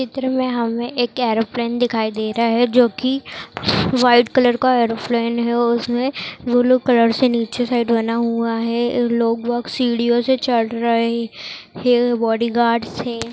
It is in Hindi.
चित्र में हमें एक ऐरोप्लान दिखाई दे रहा है जोकि व्हाइट कलर का ऐरोप्लान है उसमें ब्लू कलर से नीचे साइड बना हुआ है और यह लोग- वोग़ सीढ़ियों से चढ़ रहे है बॉडी गार्ड्स हैं।